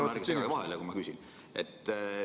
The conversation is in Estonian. Palun ärge segage vahele, kui ma küsin!